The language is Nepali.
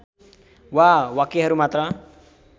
वा वाक्यहरू मात्र